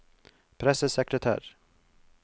pressesekretær